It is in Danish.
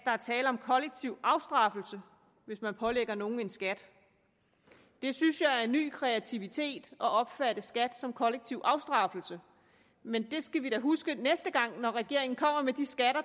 er tale om kollektiv afstraffelse hvis man pålægger nogen en skat det synes jeg er en ny kreativitet at opfatte skat som kollektiv afstraffelse men det skal vi da huske næste gang regeringen kommer med de skatter